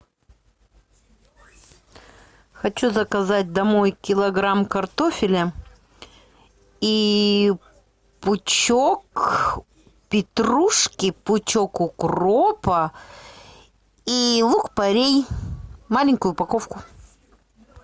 хочу заказать домой килограмм картофеля и пучок петрушки пучок укропа и лук порей маленькую упаковку